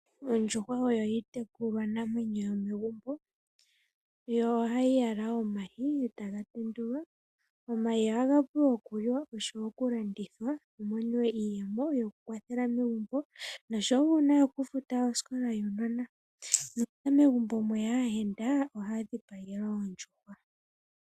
Ondjuhwa oyo iitekulwa namwenyo yomegumbo yo ohayi yala omayi eta ga tendulwa. Omayi ohaga vulu okuliwa oshowo okulandithwa kumoniwe iiyemo yokukwathela megumbo noshowo okufuta osikola yuunona. Nuuna megumbo mweya aayenda ohaya dhipagelwa ondjuhwa.